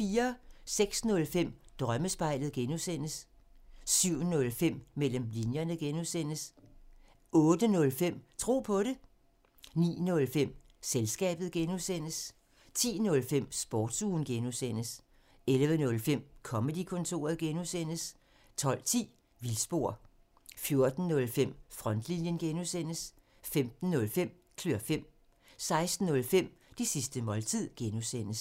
06:05: Drømmespejlet (G) 07:05: Mellem linjerne (G) 08:05: Tro på det 09:05: Selskabet (G) 10:05: Sportsugen (G) 11:05: Comedy-kontoret (G) 12:10: Vildspor 14:05: Frontlinjen (G) 15:05: Klør fem 16:05: Det sidste måltid (G)